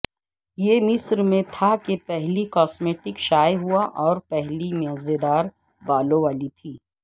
یہ مصر میں تھا کہ پہلی کاسمیٹکس شائع ہوا اور پہلی مزیدار بالوں والی تھی